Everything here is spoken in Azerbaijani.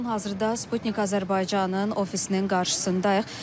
Hazırda Sputnik Azərbaycanın ofisinin qarşısındayıq.